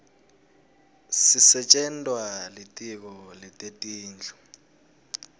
sisetjentwa litiko letetindlu